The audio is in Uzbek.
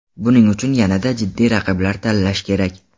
Buning uchun yanada jiddiy raqiblar tanlash kerak.